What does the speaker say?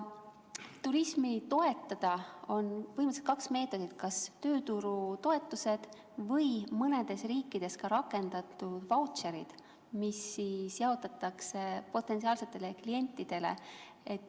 Turismi toetamiseks on põhimõtteliselt kaks meetodit: kas tööturutoetused või mõnes riigis rakendatud vautšerid, mida jaotatakse potentsiaalsetele klientidele.